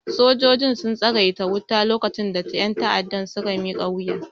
Sojojin sun tsagaita wuta lokacin da ƴan ta'addan suka miƙa wuya